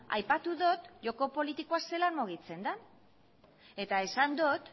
aipatu dut joko politikoa zelan mugitzen den eta esan dut